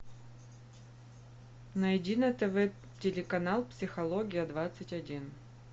найди на тв телеканал психология двадцать один